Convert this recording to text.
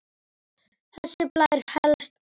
Þessi blær hélst alla tíð.